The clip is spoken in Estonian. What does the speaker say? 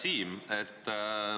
Hea Siim!